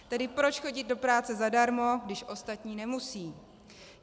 Tedy proč chodit do práce zadarmo, když ostatní nemusí?